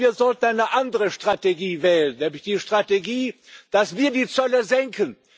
Wir sollten eine andere Strategie wählen, nämlich die Strategie, dass wir die Zölle senken.